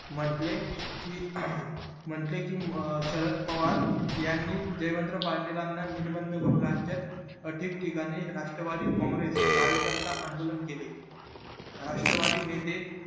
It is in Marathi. म्हंटले कि म्हंटले कि शरद पवार यांनी रेवंत पाटीलांना निर्बंध करू राज्यात अधिक ठिकाणी राष्ट्रवादी गँगरेस कार्यकर्ता आंदोलन केले राष्ट्रवादी नेते